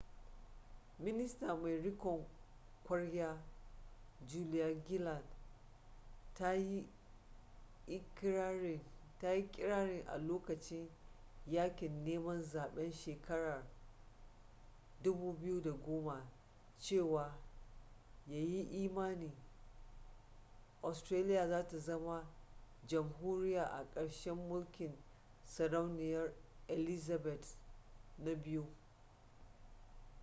minista mai rikon kwarya julia gillard ta yi ikirarin a lokacin yakin neman zaben shekarar 2010 cewa ya yi imani australia za ta zama jamhuriya a karshen mulkin sarauniya elizabeth ii